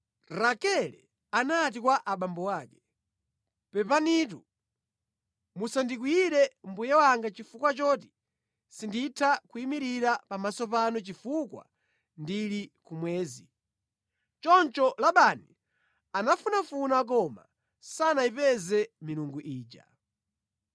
Rakele anati kwa abambo ake, “Pepanitu musandikwiyire mbuye wanga chifukwa choti sinditha kuyimirira pamaso panu chifukwa ndili kumwezi.” Choncho Labani anafunafuna koma sanayipeze milungu ija.